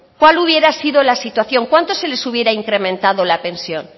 cuál hubiera sido la situación cuánto se les hubiera incrementado la pensión